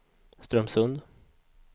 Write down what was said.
Strömsund